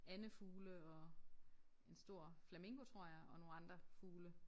Andefugle og en stor flamingo tror jeg og nogle andre fugle